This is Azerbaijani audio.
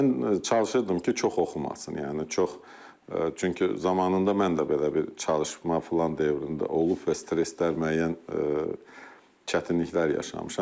Mən çalışırdım ki, çox oxumasın, yəni çox çünki zamanında mən də belə bir çalışma filan dövründə olub və stresslər, müəyyən çətinliklər yaşamışam.